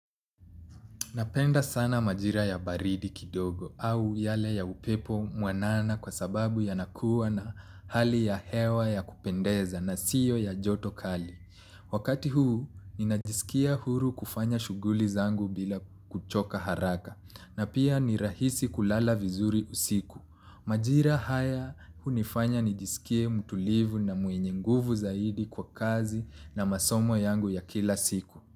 Napenda sana majira ya baridi kidogo au yale ya upepo mwanana kwa sababu yanakuwa na hali ya hewa ya kupendeza na siyo ya joto kali. Wakati huu ninajisikia huru kufanya shuguli zangu bila kuchoka haraka na pia ni rahisi kulala vizuri usiku. Majira haya unifanya nijisikie mtulivu na mwenye nguvu zaidi kwa kazi na masomo yangu ya kila siku.